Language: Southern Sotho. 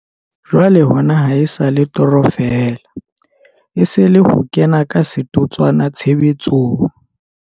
Jwale hona ha e sa le toro feela, e se e le ho kena ka setotswana tshebetsong.